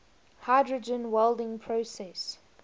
hydrogen welding process